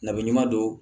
Nabi ɲuman don